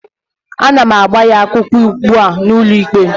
Ana m agba gị akwụkwọ ugbu a n'ụlọikpe